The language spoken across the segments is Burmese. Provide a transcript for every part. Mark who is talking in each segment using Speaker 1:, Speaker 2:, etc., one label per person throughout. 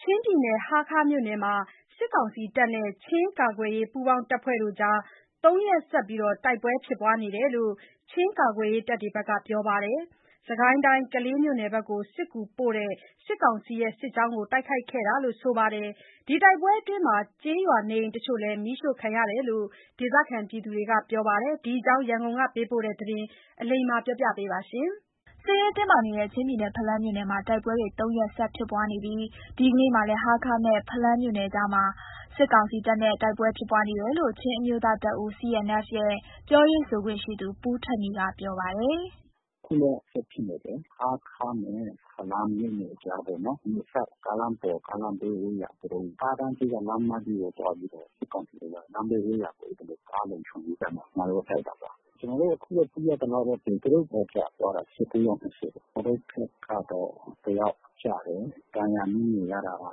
Speaker 1: ချင်းပြည်နယ်ဟားခါးမြို့နယ်မှာ စစ်ကောင်စီတပ်နဲ့ ချင်းကာကွယ်ရေးပူးပေါင်းအဖွဲ့ကြား (၃) ရက် ဆက် တိုက်ပွဲဖြစ်ပွါးနေတယ်လို့ ချင်းကာကွယ်ရေးဘက်ကပြောပါတယ်။ စစ်ကိုင်းတိုင်း၊ ကလေးမြို့နယ်ဘက်ကို စစ်ကူပို့တဲ့ စစ်ကောင်စီစစ်ကြောင်းကို တိုက်ခိုက်ခဲ့တာလို့ ဆိုပါတယ်။ တိုက်ပွဲအတွင်း ကျေးရွာနေအိမ်တချို့မီးရှို့ခံရတယ်လို့လည်း ဒေသခံတွေကပြောပါတယ်။ ဒီအကြောင်း ရန်ကုန်ကပေးပို့တာကို အလိမ္မာက တင်ပြပေးထားပါတယ်။ စစ်ရေးတင်းမာနေတဲ့ ချင်းပြည်နယ် ဖလမ်းမြို့နယ်မှာ တိုက်ပွဲတွေ (၃) ရက်ဆက်ဖြစ်ပွါးနေပြီး ဒီကနေ့မှာလည်း ဟားခါးနဲ့ဖလမ်းမြို့နယ်ကြားမှာ စစ်ကောင်စီတပ်နဲ့ တိုက်ပွဲဖြစ်ပွါးနေတယ်လို့ ချင်းအမျိုးသားတပ်ဦး CNF ရဲ့ ပြောရေးဆိုခွင့်ရှိသူ ပူးထက်နီ ကပြောပါတယ်။
Speaker 2: “အခုလည်း ဆက်ဖြစ်နေတယ်။ ဟားခါးနဲ့ဖလမ်းမြို့နယ်ကြားပေါ့နော်။ ဒီအစပ် ကားလမ်းပေါ် ကားလမ်းဘေး ဝဲယာ သူတို့ ကားတန်း ဘေးကလမ်းမကြီးပေါ်သွားပြီးတော့ စစ်ကောင်စီဘက်က လမ်းဘေးဝဲယာ သူတို့ကားလုံခြုံရေးတပ်ကို ကျနော်တို့တိုက်တာပါ။ အခုသိရသလောက်ကတော့ သူတို့ဘက်ကျသွားတာ (၁၉) ယောက် ရှိတယ်။ ကျနော်တို့ဘက်ကတော့ တယောက် ကျတယ်။ ဒဏ်ရာအနည်းငယ်ရတာက (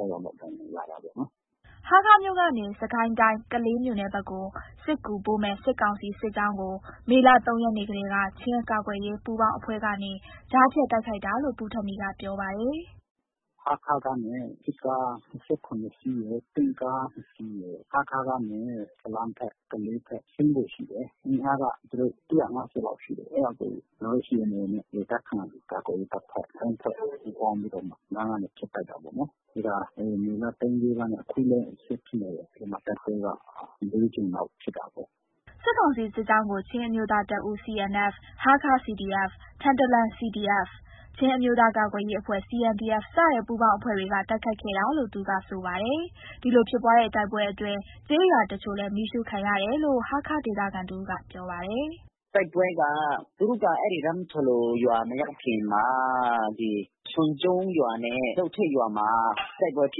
Speaker 1: ၆) ယောက်တော့ဒဏ်ရာရတာပေါ့နော်။” ဟားခါးမြို့ကနေ စစ်ကိုင်းတိုင်း ကလေးမြို့နယ်ဘက်ကိုစစ်ကူပို့မယ့် စစ်ကောင်စီစစ်ကြောင်းကို မေလ (၃) ရက်နေ့ကတည်းက ချင်း ကာကွယ်ရေးပူးပေါင်းအဖွဲ့ကနေ ကြားဖြတ်တိုက်ခိုက် တာလို့ ပူးထက်နီကပြောပါတယ်။
Speaker 2: “စစ်ကား (၁၇) စီးရယ်၊ တင့်ကားနှစ်စီးရယ်၊ ဟားခါးကနေ ဖလမ်းဘက်၊ ကလေးဘက် ဆင်းဖို့ရှိတယ်။ အင်အားက သူတို့ (၁၅၀) လောက်ရှိတယ်။ အဲဒါကို ကျနော်တို့ CAN နဲ့ ဒေသခံကာကွယ်ရေး (၃) ဖွဲ့တို့ ပူးပေါင်းပြီးတော့ လမ်းကနေ ဖြတ် တိုက်တာပေါ့နော်။ အဲတာမေလ (၃) (၄) ရက်နဲ့ အခုလည်း ဆက်ဖြစ်နေတယ်။ အဲဒီမှာ တိုက်ပွဲက (၄) ကြိမ်လောက်ဖြစ်တာပေါ့။
Speaker 1: ” စစ်ကောင်စီစစ်ကြောင်းကို ချင်းအမျိုးသားတပ်ဦး CNF၊ ဟားခါး CDF ၊ ထန်တလန် CDF၊ ချင်းအမျိုးသားကာကွယ်ရေး အဖွဲ့ CNDF စတဲ့ ပူးပေါင်းအဖွဲ့တွေက တိုက်ခိုက်ခဲ့တယ်လို့ သူကဆိုပါတယ်။ ဒီလိုဖြစ်ပွါးတဲ့တိုက်ပွဲအတွင်း ကျေးရွာတချို့လည်း မီးရှို့ခံရတယ်လို့ ဟားခါးဒေသခံတဦးကပြောပါတယ်။
Speaker 2: “တိုက်ပွဲက သူတို့ ဟို ရမ်းဖလိုရွာမရောက်ခင်မှာ ချွန်ကျုံးရွာနဲ့လုပ်ထိတ်ရွာမှာ တိုက်ပွဲဖြ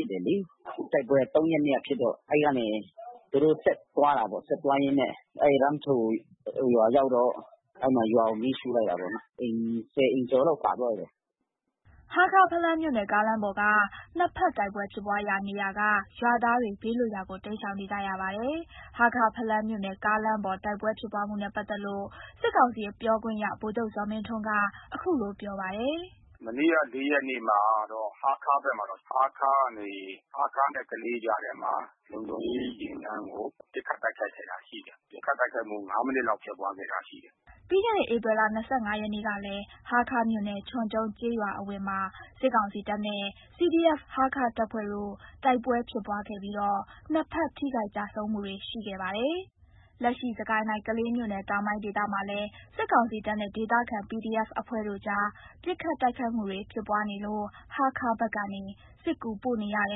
Speaker 2: စ်တယ်လေ။ တိုက်ပွဲက (၃) ရက်နေ့က ဖြစ်တော့ အဲဒီကနေ သူတို့ဆက်သွားတာပေါ့။ ဆက်သွားရင်းနဲ့ သူတို့ ရမ်းဖလိုရွာရောက်တော့ အဲဒီမှာ ရွာကိုမီးရှို့လိုက်တာပေါ့နော်။ (၁၀) အိမ်ကျော်လောက်ပါသွားတယ်။
Speaker 1: ” ဟားခါး-ဖလမ်းမြို့နယ်ကားလမ်းပေါ်က နှစ်ဘက်တိုက်ပွဲဖြစ်ပွါးရာနေရာက ရွာသားတွေ ဘေးလွတ်ရာကို တိမ်းရှောင်နေကြရပါတယ်။ ဟားခါး-ဖလမ်းမြို့နယ်ကားလမ်းပေါ် တိုက်ပွဲဖြစ်ပွါးမှုနဲ့ပက်သက်လို့ စစ်ကောင်စီပြောခွင့်ရ ဗိုလ် ချုပ်ဇော်မင်းထွန်းက အခုလို ပြောပါတယ်။
Speaker 2: “မနေ့က (၄) ရက်နေ့မှာ ဟားခါးဘက်မှာတော့ ဟားခါးကနေ ဟားခါးနဲ့ကလေးကြားထဲမှာ လုံခြုံရေးယာဉ်တန်းကို ပစ်ခတ်တိုက်ခိုက်တာရှိတယ်။ ပစ်ခတ်တိုက်ခိုက်မှု (၅) မိနစ်ဖြစ်ခဲ့တာရှိတယ်။
Speaker 1: ” ပြီးခဲ့တဲ့ ဧပြီလ ၂၅ ရက်ကလည်း ဟားခါးမြို့နယ် ချွန်ကျူံးကျေးရွာအဝင်မှာ စစ်ကောင်စီတပ်နဲ့ CDF-Hakha တပ်ဖွဲ့တို့ တိုက်ပွဲဖြစ်ပွားခဲ့ပြီးတော့ နှစ်ဘက်ထိခိုက်ကျဆုံးမှုရှိခဲ့ပါတယ်။ လက်ရှိစစ်ကိုင်းတိုင်းကလေးမြို့နယ်တောင်ပိုင်းဒေသမှာလဲ စစ်ကောင်စီတပ်နဲ့ ဒေသခံ PDF အဖွဲ့တို့အကြား ပစ်ခတ်တိုက်ခိုက်မှု တွေဖြစ်ပွါးနေလို့ ဟားခါးဘက်ကနေ စစ်ကူပို့နေရတ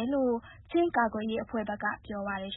Speaker 1: ယ်လို့ ချင်းကာကွယ်ရေးအဖွဲ့ဘက်ကပြောပါတယ်